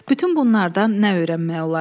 Bütün bunlardan nə öyrənmək olar?